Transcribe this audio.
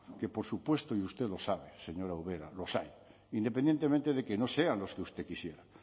que por supuesto y usted lo sabe señora ubera los hay independientemente de que no sean los que usted quisiera